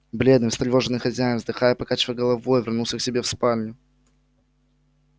бледный встревоженный хозяин вздыхая и покачивая головой вернулся к себе в спальню